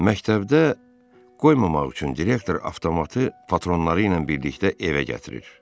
Məktəbdə qoymamaq üçün direktor avtomatı patronları ilə birlikdə evə gətirir.